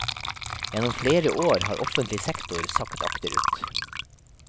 Gjennom flere år har offentlig sektor sakket akterut.